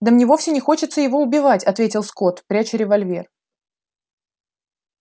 да мне вовсе не хочется его убивать ответил скотт пряча револьвер